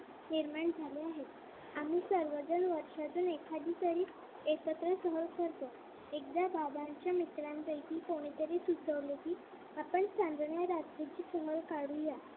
निर्माण झाले आहेत. आम्ही सर्वजण वर्षातून एखादी तरी एकत्र सहज करतो. एकदा बाबांच्या मित्रांपैकी कोणी तरी सुचवले कि आपण चांदण्या रात्रीची सहल काढू या.